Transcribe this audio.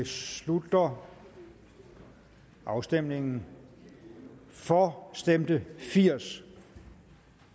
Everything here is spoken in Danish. slutter afstemningen for stemte firs